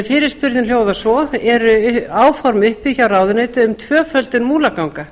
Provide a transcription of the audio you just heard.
fyrirspurnin hljóðar svo eru áform uppi hjá ráðuneytinu um tvöföldun múlaganga